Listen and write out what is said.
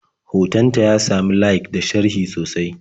Hoton ta ya sami layik da sharhi sosai.